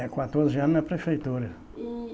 É, quatorze anos na prefeitura. E